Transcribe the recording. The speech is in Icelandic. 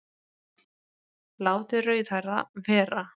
Látið rauðhærða vera